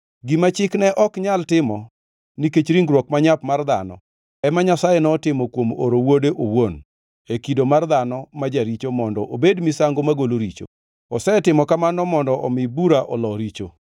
Gima Chik ne ok nyal timo nikech ringruok manyap mar dhano, ema Nyasaye notimo kuom oro Wuode owuon, e kido mar dhano ma jaricho mondo obed misango magolo richo. Osetimo kamano mondo omi bura olo richo,